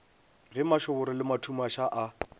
ge mašoboro le mathumaša a